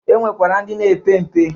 E nwekwara ndi na-epe mpe.